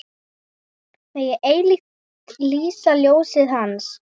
Megi eilíft lýsa ljósið Hans.